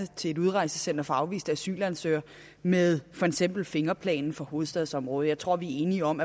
til et udrejsecenter for afviste asylansøgere med for eksempel fingerplanen for hovedstadsområdet jeg tror vi er enige om